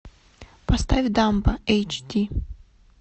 поставь дамба эйч ди